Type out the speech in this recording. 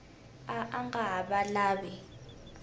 a a nga ha lavi